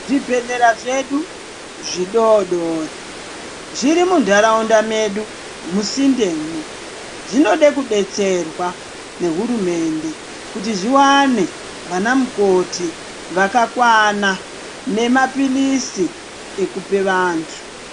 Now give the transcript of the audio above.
Zvibhedhlera zvedu zvidoodori zviri munharaunda medu musindemwo zvinode kudetserwa ngehurumende kuti zviwane vanamukoti vakakwana nemaphirizi ekupe vantu.